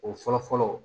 O fɔlɔ fɔlɔ